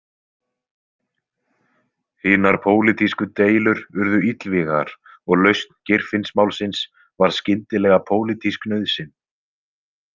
Hinar pólitísku deilur urðu illvígar og lausn Geirfinnsmálsins varð skyndilega pólitísk nauðsyn.